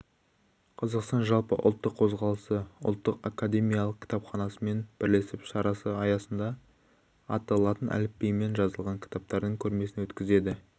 қазақстан жалпыұлттық қозғалысы ұлттық академиялық кітапханасымен бірлесіп шарасы аясында атты латын әліпбиімен жазылған кітаптардың көрмесін өткізеді